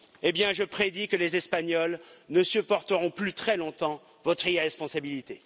Eh bien, je prédis que les Espagnols ne supporteront plus très longtemps votre irresponsabilité.